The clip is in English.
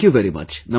Thank you very much